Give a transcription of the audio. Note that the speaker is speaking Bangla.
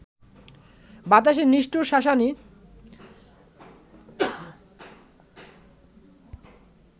বাতাসের নিষ্ঠুর শাসানি